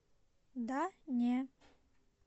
да не